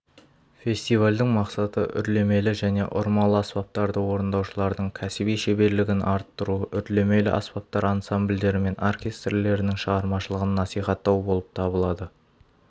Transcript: фестивальдің мақсаты үрлемелі және ұрмалы аспаптарда орындаушылардың кәсіби шеберлігін арттыру үрлемелі аспаптар ансамбльдері мен оркестрлерінің шығармашылығын насихаттау болып табылады